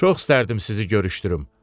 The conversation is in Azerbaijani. Çox istərdim sizi görüşdürüm.